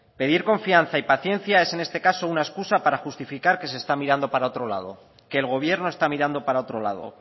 pedir confianza y paciencia es en este caso una excusa para justificar que se está mirando para otro lado que el gobierno está mirando para otro lado